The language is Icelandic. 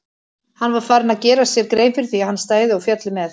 Hann var farinn að gera sér grein fyrir því að hann stæði og félli með